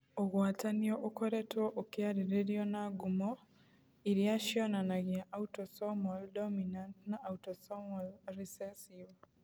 Ũgwatanio ũkoretwo ũkĩarĩrĩrio, na ngumo iria cionanagia autosomal dominant na autosomal recessive.